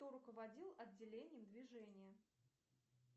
кто руководил отделением движения